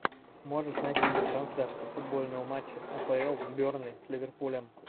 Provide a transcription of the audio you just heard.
можешь найти мне трансляцию футбольного матча апл бернли с ливерпулем